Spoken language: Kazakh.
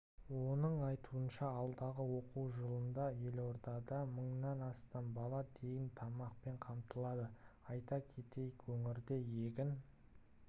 оның айтуынша алдағы оқу жылында елордада мыңнан астам бала тегін тамақпен қамтылады айта кетейік өңірде егін